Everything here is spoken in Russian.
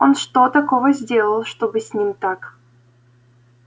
он что такого сделал чтобы с ним так